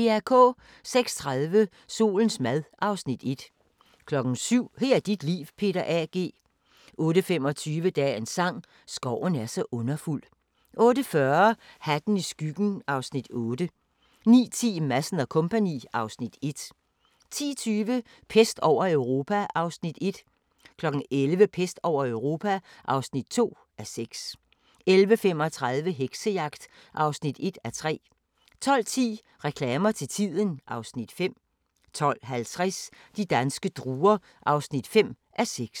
06:30: Solens mad (Afs. 1) 07:00: Her er dit liv – Peter A. G. 08:25: Dagens sang: Skoven er så underfuld 08:40: Hatten i skyggen (Afs. 8) 09:10: Madsen & Co. (Afs. 1) 10:20: Pest over Europa (1:6) 11:00: Pest over Europa (2:6) 11:35: Heksejagt (1:3) 12:10: Reklamer til tiden (Afs. 5) 12:50: De danske druer (5:6)